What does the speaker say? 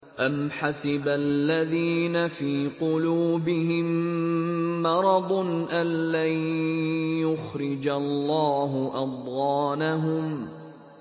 أَمْ حَسِبَ الَّذِينَ فِي قُلُوبِهِم مَّرَضٌ أَن لَّن يُخْرِجَ اللَّهُ أَضْغَانَهُمْ